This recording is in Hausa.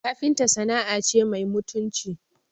Kafinta sana'a ce mai mutunci